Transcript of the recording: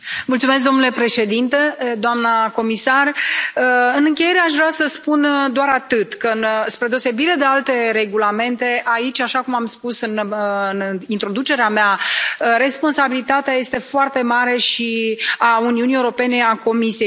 Domnule președinte, doamnă comisar, în încheiere aș vrea să spun doar atât spre deosebire de alte regulamente, aici, așa cum am spus în introducerea mea, responsabilitatea este foarte mare, și a Uniunii Europene, și a Comisiei.